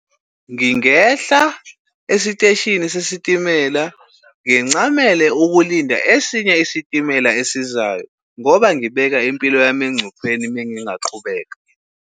Ngingehla esiteshini sesitimela ngincamele ukulinda esinye isitimela esizayo ngoba ngibeka impilo yami engcupheni mengingaqhubeka.